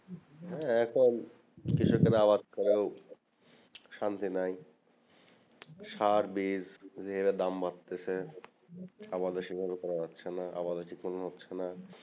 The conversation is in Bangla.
এখন কৃষকের আবাদ করেও শান্তি নাই সার বীচ যে হারে দাম বাড়তেছে আবাদ বেসি করে হচ্চে না আমাদের সব কিছু পুরোন হচ্চে না